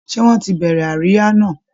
Ṣé wọ́n ti bẹ̀rẹ̀ àríyá náà?